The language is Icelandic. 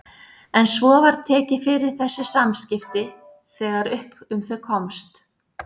En svo var tekið fyrir þessi samskipti þegar upp um þau komst.